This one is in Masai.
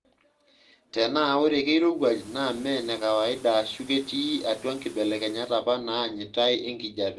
Tenaa ore kirowuaj naa mee ene kawaida aashu ketii atua nkibelekenyat apa naanyitai enkijiepe.